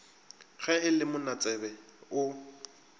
ge e le monatsebe o